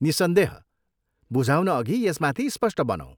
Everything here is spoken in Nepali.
निस्सन्देह, बुझाउनअघि यसमाथि स्पष्ट बनौँ।